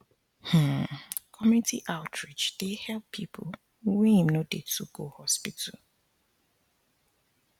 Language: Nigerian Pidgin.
um community outreach dey help people wey em no dey too go hospital